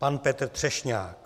Pan Petr Třešňák.